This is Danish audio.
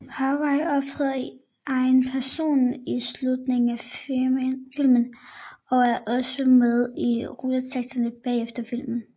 Harvey optræder i egen person i slutningen af filmen og er også med i rulleteksterne bagefter filmen